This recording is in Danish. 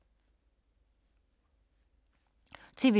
TV 2